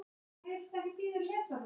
Þeir litu í kringum sig.